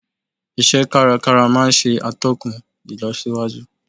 Ise kárakára maa n se atókùn ilosíwájú